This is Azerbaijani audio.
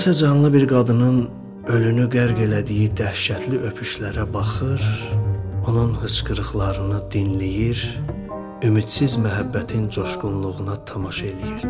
Mən isə canlı bir qadının ölünü qərq elədiyi dəhşətli öpüşlərə baxır, onun hıçqırıqlarını dinləyir, ümidsiz məhəbbətin coşqunluğuna tamaşa eləyirdi.